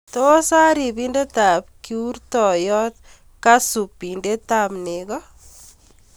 tos ai ripindetab kiurtoiyot kasu bindetab neko